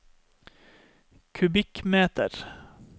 kubikkmeter